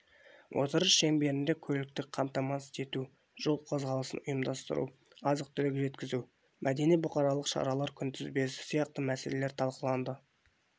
отырыс шеңберінде көліктік қамтамасыз ету жол қозғалысын ұйымдастыру азық-түлік жеткізу мәдени-бұқаралық шаралар күнтізбесі сияқты мәселелер талқыланды